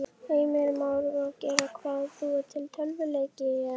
Heimir Már: Og gera hvað, búa til tölvuleiki eða?